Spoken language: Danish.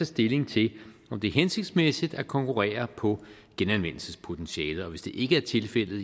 stilling til om det er hensigtsmæssigt at konkurrere på genanvendelsenspotentialet og hvis det ikke